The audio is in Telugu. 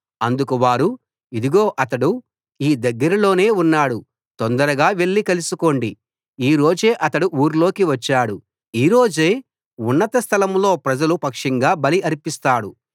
అందుకు వారు ఇదిగో అతడు ఈ దగ్గరలోనే ఉన్నాడు తొందరగా వెళ్ళి కలుసుకోండి ఈ రోజే అతడు ఊర్లోకి వచ్చాడు ఈ రోజే ఉన్నత స్థలం లో ప్రజల పక్షంగా బలి అర్పిస్తాడు